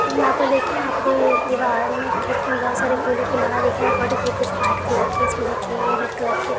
यहा पे देखिये आप को ऐ दीवार में खिड़की में बहुत सारे फूलो की माला दिखया पड़े थी कुछ वाईट कलर की इसमें देखिये ये रेड कलर की--